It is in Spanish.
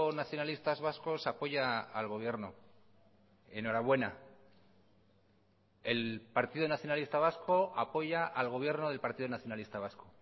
nacionalistas vascos apoya al gobierno enhorabuena el partido nacionalista vasco apoya al gobierno del partido nacionalista vasco